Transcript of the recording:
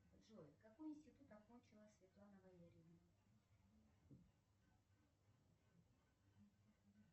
джой какой институт окончила светлана валерьевна